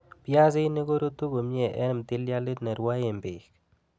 Piasinik korutu komie en ptilialit nerwoe beek